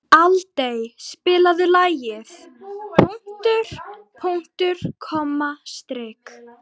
Aldey, spilaðu lagið „Punktur, punktur, komma, strik“.